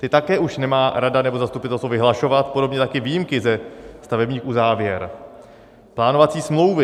Ty také už nemá rada nebo zastupitelstvo vyhlašovat, podobně také výjimky ze stavebních uzávěr, plánovací smlouvy.